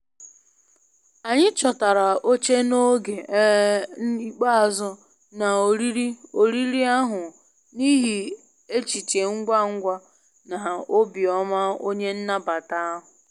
Anyị chọtara oche n'oge um ikpeazụ na oriri oriri ahụ n'ihi echiche ngwa ngwa na obi ọma onye nnabata ahụ.